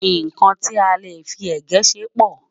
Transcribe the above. nkán tí a lè fí égẹ̀ ṣé pò